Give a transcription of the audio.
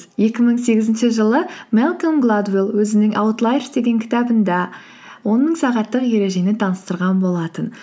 екі мың сегізінші жылы мэлколм гладуэлл өзінің аутлайерс деген кітабында он мың сағаттық ережені таныстырған болатын